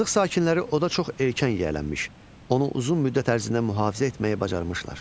Azıq sakinləri oda çox erkən yiyələnmiş, onu uzun müddət ərzində mühafizə etməyi bacarmışlar.